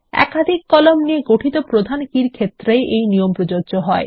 একাধিক কলাম নিয়ে গঠিত প্রধান কী র ক্ষেত্রেই এই নিয়ম প্রযোজ্য হয়